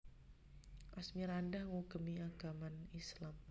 Asmirandah ngugemi agaman Islam